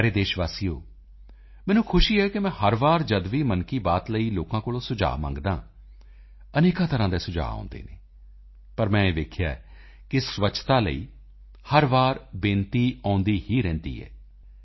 ਮੇਰੇ ਪਿਆਰੇ ਦੇਸ਼ ਵਾਸੀਓ ਮੈਨੂੰ ਖੁਸ਼ੀ ਹੈ ਕਿ ਮੈਂ ਹਰ ਵਾਰ ਜਦ ਵੀ ਮਨ ਕੀ ਬਾਤ ਲਈ ਲੋਕਾਂ ਕੋਲੋਂ ਸੁਝਾਅ ਮੰਗਦਾ ਹਾਂ ਅਨੇਕਾਂ ਤਰ੍ਹਾਂ ਦੇ ਸੁਝਾਅ ਆਉਂਦੇ ਹਨ ਪਰ ਮੈਂ ਇਹ ਵੇਖਿਆ ਹੈ ਕਿ ਸਵੱਛਤਾ ਲਈ ਹਰ ਵਾਰੀ ਬੇਨਤੀ ਆਉਂਦੀ ਹੀ ਰਹਿੰਦੀ ਹੈ